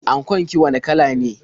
Ankon ki wane kala ne?